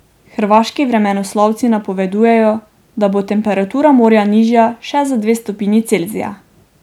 Hrvaški vremenoslovci napovedujejo, da bo temperatura morja nižja še za dve stopinji Celzija.